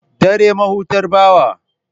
Dare mahutar bawa.